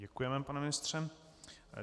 Děkujeme, pane ministře.